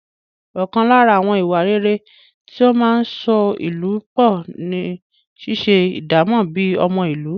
Ọkàn lára àwọn ìwà rere tí ó máa ń so ìlú pọ̀ ni ṣíṣe ìdámọ̀ bíi ọmọ ìlú.